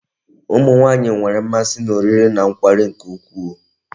Ụmụ nwaanyị nwere mmasị n'oriri na nkwari nke ukwuu.